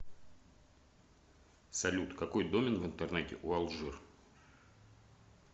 салют какой домен в интернете у алжир